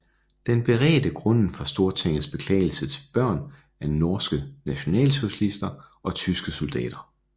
Den beredte grunden for Stortingets beklagelse til børn af norske nationalsocialister og tyske soldater